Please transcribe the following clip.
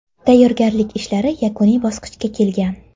Tayyorgarlik ishlari yakuniy bosqichga kelgan.